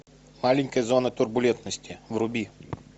маленькая зона турбулентности вруби